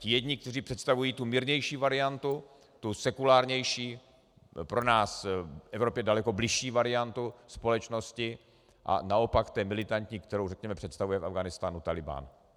Ti jedni, kteří představují tu mírnější variantu, tu sekulárnější, pro nás v Evropě daleko bližší variantu společnosti, a naopak té militantní, kterou, řekněme, představuje v Afghánistánu Taliban.